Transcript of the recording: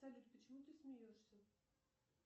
салют почему ты смеешься